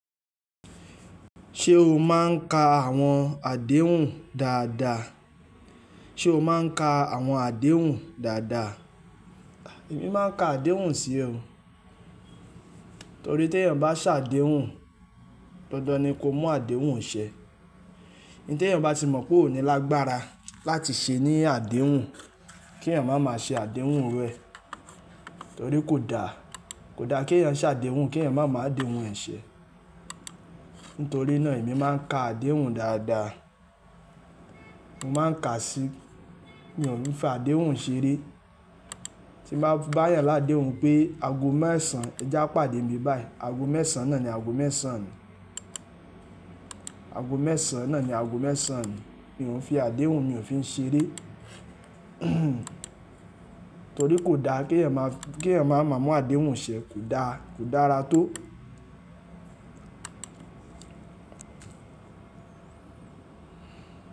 Ṣé o máa ń ka àwọn àdéhùn dáadáa? Ṣé o máa ń ka àwọn àdéhùn dáadáa? Èmi máa ń ka àdéhùn sí o. Torí tí èèyàn bá ṣàdéhùn, dandan ni kó mú àdéhùn ṣẹ. N tí èèyàn bá ti mọ̀ pé ò ní lágbára láti ṣe ní àdéhùn, kí èèyàn máa ma ṣe àdéhùn iru ẹ̀. Torí kò da, kò da kí èèyàn ṣàdéhùn, kí èèyàn máa ma àdéhùn ẹ̀ ṣẹ. Nítorí náà èmi máa ń ka àdéhùn dáadáa. Mo máa ń ka sí mí o ni fi àdéhùn ṣeré. Tí mo bá ti ba yàn ládehun pé ago mẹ́sàn án, ẹ já pàdé mbi báí. Ago mẹ́sàn án náà ni ago mẹ́sàn án mi. Ago mẹ́sàn án náà ni ago mẹ́sàn án. Mi o n fi àdéhùn, mi ò fi n ṣeré. Torí kò da kí èèyàn ma, kí èèyàn máa ma mú àdéhùn ṣẹ. Kò da, kò dára tó.